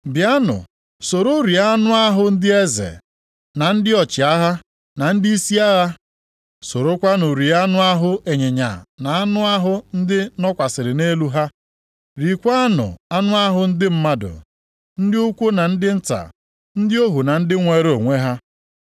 Bịanụ soro rie anụ ahụ ndị eze, na ndị ọchịagha, na ndịisi agha. Sorokwanụ rie anụ ahụ ịnyịnya na anụ ahụ ndị nọkwasịrị nʼelu ha. Riekwanụ anụ ahụ ndị mmadụ, ndị ukwu na ndị nta, ndị ohu na ndị nweere onwe ha.”